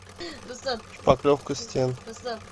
шпаклевка стен